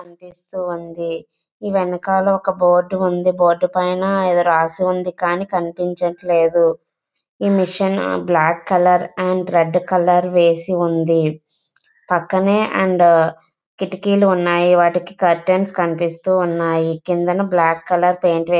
కనిపిస్తూ ఉంది. ఈ వెనకాల ఒక బోర్డు ఉంది.బోర్డు పైన ఎదో రాసి ఉంది కానీ కనిపించట్లేదు. Machine black colour and red colour వేసి ఉంది. పక్కనే అండ్ కిటికీలు ఉన్నాయి. వాటికి కర్టెన్స్ కనిపిస్తూ ఉన్నాయి. కింద బ్లాక్ కలర్ పెయింట్ వేసి --